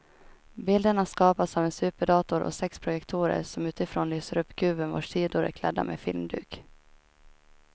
Bilderna skapas av en superdator och sex projektorer som utifrån lyser upp kuben vars sidor är klädda med filmduk.